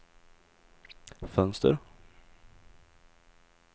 fönster